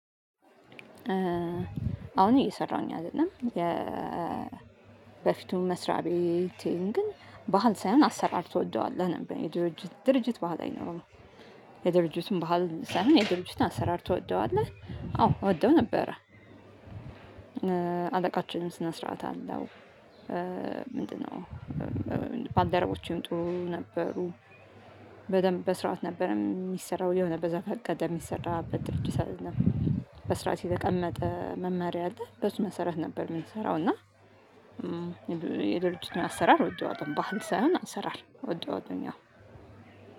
አሁን እየሰራሁኝ አይደለም የ በፊቱን መስሪያቤቲን ግን ባህል ሳይሆን አሰራር ትወደዋለህ ነበር የድርጅት ድርጅት ባህል አይኖርም የድርጅቱን ባህል ሳይሆን የድርጅቱን አሰራር ትወደዋለህ? አዎ እወደው ነበረ። አለቃችንም ስነስርዓት አለው። ምንድነው? ባልደረቦቼም ጥሩ ነበሩ። በደንብ በስርዓት ነበር እሚሰራው የሆነ በዘፈቀደ እሚሰራበት ድርጅት ነው። በስርዓት የተቀመጠ መማሪያ አለ በእሱ መሰረት ነበር የምንሰራው እና። የድርጂቱን አሰራር እወደዋለም ባህል ሳይሆን አሰራር እወደዋለሁኝ ያው።